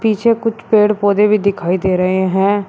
पीछे कुछ पेड़ पौधे भी दिखाई दे रहे हैं।